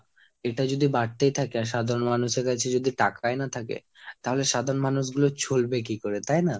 এটা যদি বাড়তেই থাকে আর সাধারণ মানুষের কাছে যদি টাকাই না থাকে, তাহলে সাধারণ মানুষগুলো চলবে কি করে তাই না?